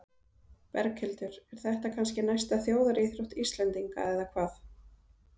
Berghildur, er þetta kannski næsta þjóðaríþrótt Íslendinga eða hvað?